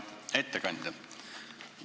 Hea ettekandja!